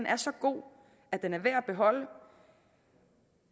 er så god at den er værd at beholde